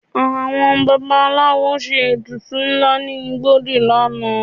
Àwọn babaláwo ṣe ètùtù ńlá ní igbódù lánàá